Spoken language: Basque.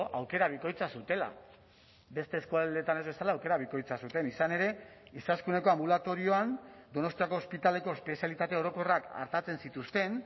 aukera bikoitza zutela beste eskualdeetan ez bezala aukera bikoitza zuten izan ere izaskuneko anbulatorioan donostiako ospitaleko espezialitate orokorrak artatzen zituzten